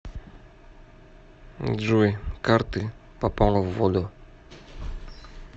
джой карты попала в воду